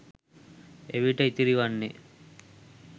එවිට ඉතිරිවන්නේ